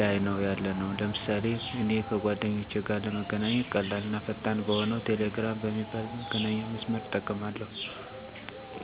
ላይ ነው ያለነው። ለምሳሌ እኔ ከ ጓደኞቼ ጋር ለመገናኘት ቀላል እና ፈጣን በሆነው ቴሌግራም በሚባል መገናኛ መስመር እጠቀማለሁ። ቴሌግራም አሪፍ ፍጥነት እና ደንነቱ የተጠበቀ ሲሆን ከፈለኩ በፁሁፍ ወይም በምስል ማግኘት እንድችል አድርጎኛል። ቀላል እና ፈጣን በመሆኑ የፈለኩት ሠው ማግኘት እንድችል አድርጎኛል።